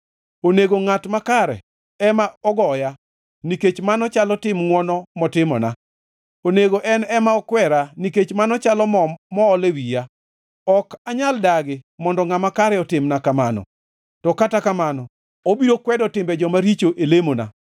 Onego ngʼat makare ema ogoya, nikech mano chalo tim ngʼwono motimona; onego en ema okwera, nikech mano chalo mo mool e wiya; ok anyal dagi mondo ngʼama kare otimna kamano. To kata kamano obiro kwedo timbe joma richo e lemona;